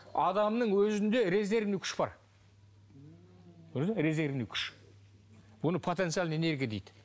адамның өзінде резервный күш бар көрдің бе резервный күш оны потенциальная энергия дейді